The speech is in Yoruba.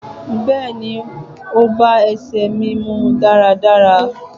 Bẹẹni, o ba èse mí mú daradara.